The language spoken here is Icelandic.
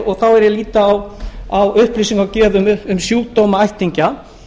og þá lít ég á upplýsingagjöf um sjúkdóma ættingja